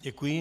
Děkuji.